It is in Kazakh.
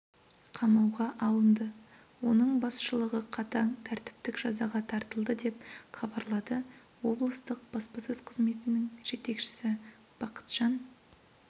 қамауға алынды оның басшылығы қатаң тәртіптік жазаға тартылды деп хабарлады облыстық баспасөз қызметінің жетекшісі бақытжан